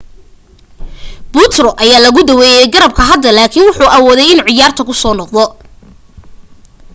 putro ayaa laga daaweey garabka hadda laakin wuxuu awooday inuu ciyaarta kusoo noqdo